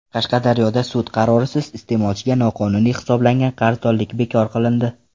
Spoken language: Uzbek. Qashqadaryoda sud qarorisiz iste’molchiga noqonuniy hisoblangan qarzdorlik bekor qilindi.